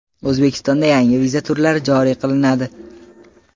O‘zbekistonda yangi viza turlari joriy qilinadi.